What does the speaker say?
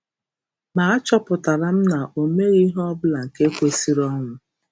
Ma a chọpụtara m na o meghị ihe ọbụla nke kwesịrị ọnwụ.